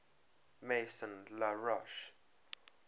maison la roche